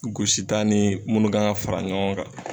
Gosita ni munnu kan ga fara ɲɔgɔn kan